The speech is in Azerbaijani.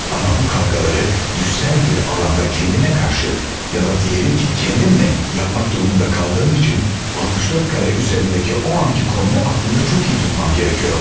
Amma bu kavgaları düşsəl bir alanda kəndimə qarşı ya da deyəlim ki, kəndimlə yapmaq durumunda qaldığım üçün 64 kare üzərindəki o anki konumu aklımda çox iyi tutmam gərəkiyordu.